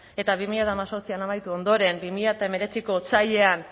eta bi mila hemezortzian amaitu ondoren bi mila hemeretziko otsailean